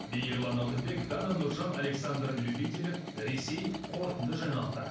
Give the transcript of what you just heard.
мейірлан алтынбек дана нұржан александр любителев ресей қорытынды жаңалықтар